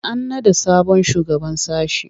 An naɗa sabon shugaban sashe.